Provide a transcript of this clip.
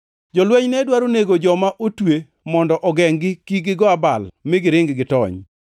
Jolweny ne dwaro nego joma otwe mondo ogengʼ gi kik gigo abal mi giring gitony.